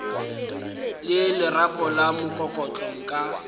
le lerapo la mokokotlo nka